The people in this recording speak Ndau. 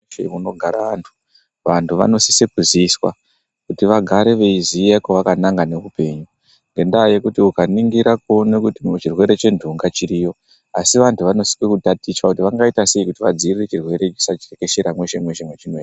Munzvimbo munogara antu vantu vanosise kuziswa kuti vagare veiziya kwakananga ngeupenyu. Ngendaa yekuti ukaningira kuona kuti chirwere chenhunga chiriyo. Asi vantu vanosisa kutaticha kuti vangaite sei kuti vadzivirire chirwere ichi chisati chatekeshera mweshe-mweshe mwachinoe.